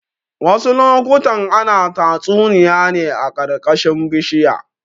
Wasu lokutan ana tatsuniya ne a ƙarƙashin bishinya.